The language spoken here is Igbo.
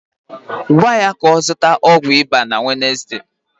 Gwa ya ka ọ zụta ọgwụ ịba na Wednesde